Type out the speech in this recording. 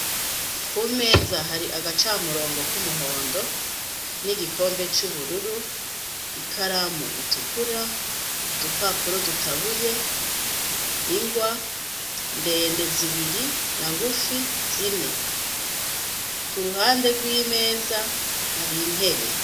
Kumeza hari agacamurongo k’umuhondo nigikombe cubururu, ikaramu itukura, udupapuro dutabuye, ingwa, ndende zibiri na ngufi zine. Kuruhande rw'imeza har'intebe.